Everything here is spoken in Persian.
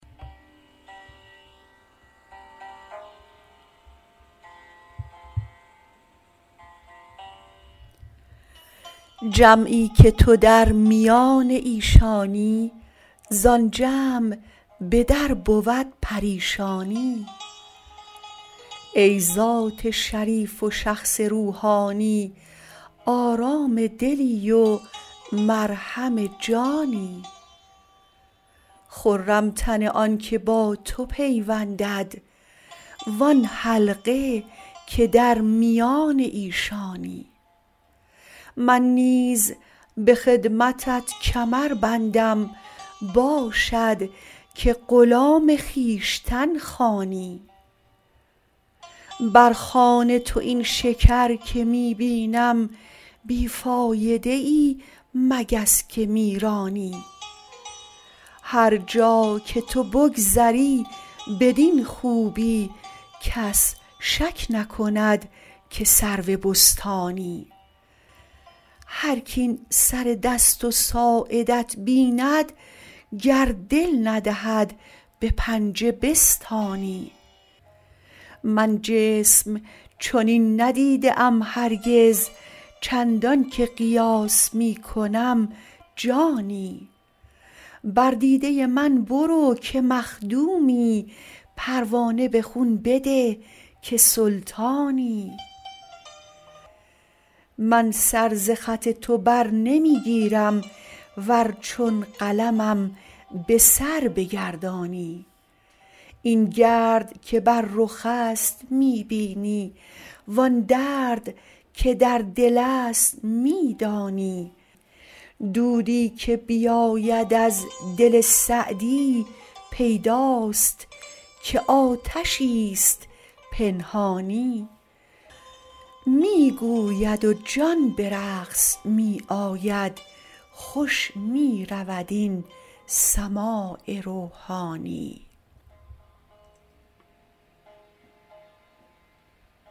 جمعی که تو در میان ایشانی زآن جمع به در بود پریشانی ای ذات شریف و شخص روحانی آرام دلی و مرهم جانی خرم تن آن که با تو پیوندد وآن حلقه که در میان ایشانی من نیز به خدمتت کمر بندم باشد که غلام خویشتن خوانی بر خوان تو این شکر که می بینم بی فایده ای مگس که می رانی هر جا که تو بگذری بدین خوبی کس شک نکند که سرو بستانی هرک این سر دست و ساعدت بیند گر دل ندهد به پنجه بستانی من جسم چنین ندیده ام هرگز چندان که قیاس می کنم جانی بر دیده من برو که مخدومی پروانه به خون بده که سلطانی من سر ز خط تو بر نمی گیرم ور چون قلمم به سر بگردانی این گرد که بر رخ است می بینی وآن درد که در دل است می دانی دودی که بیاید از دل سعدی پیداست که آتشی ست پنهانی می گوید و جان به رقص می آید خوش می رود این سماع روحانی